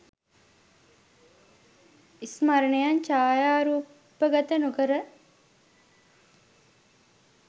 ස්මරණයන් ඡායාරූපගත නොකර